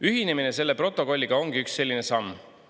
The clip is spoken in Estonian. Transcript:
Ühinemine selle protokolliga ongi üks selline samm.